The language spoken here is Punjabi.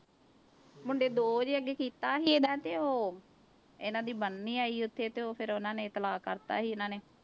ਮੁੰਡੇ ਦੋ ਜੇ ਅੱਗੇ ਕੀਤਾ ਸੀ ਇਹਦਾ ਤੇ ਉਹ ਇਹਨਾਂ ਦੀ ਉੱਥੇ ਤੇ ਉਹ ਫਿਰ ਉਹਨਾਂ ਨੇ ਤਲਾਕ ਕਰ ਦਿੱਤਾ ਸੀ ਇਹਨਾਂ ਨੇ।